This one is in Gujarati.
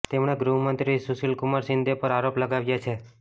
તેમણે ગૃહમંત્રી સુશીલ કુમાર શિંદે પર આરોપ લગાવ્યા છે